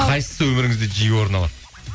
қайсысы өміріңізде жиі орын алады